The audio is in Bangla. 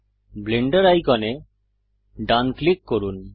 ব্লেন্ডার আইকনে ডান ক্লিক করুন